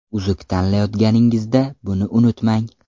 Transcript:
Uzuk tanlayotganingizda buni unutmang.